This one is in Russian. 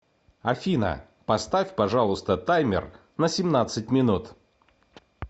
афина поставь пожалуйста таймер на семнадцать минут